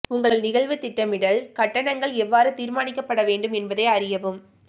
உங்கள் நிகழ்வு திட்டமிடல் கட்டணங்கள் எவ்வாறு தீர்மானிக்கப்பட வேண்டும் என்பதை அறியவும்